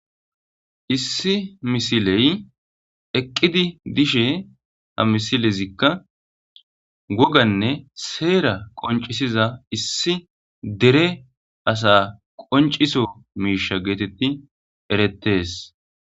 Issi misiley eqqidi dishe ha misilezikka goganne seera qoncisiza issi dere asa qonc'iso miisha geetetti erettes.